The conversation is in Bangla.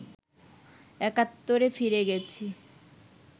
একাত্তরে ফিরে গেছি